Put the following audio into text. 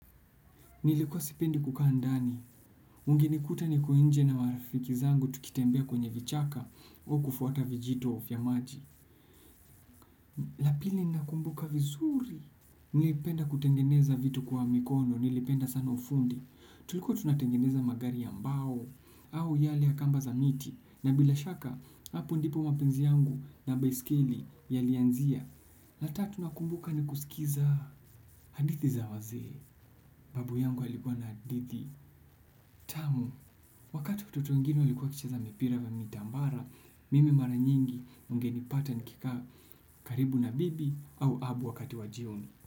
Nilikuwa sipendi kukaa ndani, ungenikuta niko nje na marafiki zangu tukitembea kwenye vichaka au kufuata vijito vya maji. La pili nina kumbuka vizuri, nilipenda kutengeneza vitu kwa mikono, nilipenda sana ufundi. Tulikua tunatengeneza magari ya mbao au yale ya kamba za miti na bila shaka hapo ndipo mapenzi yangu ya baiskeli yalianzia la tatu nakumbuka ni kusikiliza hadithi za wazee, babu yangu alikuwa na hadithi, tamu. Wakati watoto wengine walikuwa wakicheza mipira ya mitambara, mimi mara nyingi ungenipata nikikaa karibu na bibi au babu wakati wa jioni.